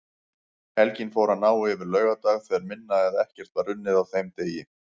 Helgin fór að ná yfir laugardag þegar minna eða ekkert var unnið á þeim degi.